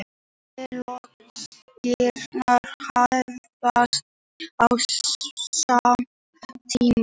Allir leikirnir hefjast á sama tíma